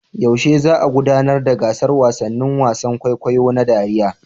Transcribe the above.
Yaushe za a gudanar da gasar wasannin wasan kwaikwayo da dariya?